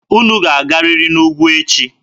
Unu ga-agarịrị n'ugwu echi!